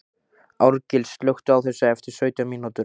Árgils, slökktu á þessu eftir sautján mínútur.